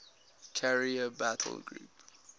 carrier battle group